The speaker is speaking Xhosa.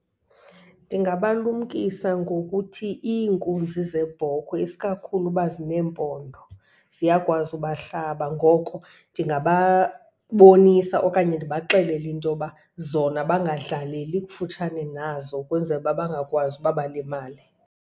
Ndingabalumkisa ngokuthi iinkunzi zeebhokhwe, isikakhulu uba zineempondo, ziyakwazi ubahlaba. Ngoko ndingababonisa okanye ndibaxelele intoba zona bangadlaleli kufutshane nazo ukwenzela uba bangakwazi uba balimale.